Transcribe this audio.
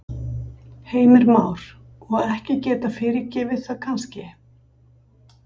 Heimir Már: Og ekki geta fyrirgefið það kannski?